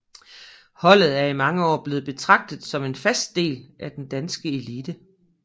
Holdet er i mange år blevet betragtet som en fast del af den danske elite